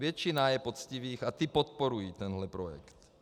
Většina je poctivých a ti podporují tento projekt.